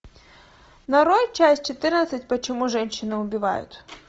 нарой часть четырнадцать почему женщины убивают